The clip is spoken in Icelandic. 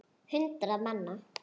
Hundruð manna.